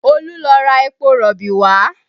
Olu lọ ra epo rọ̀bì wá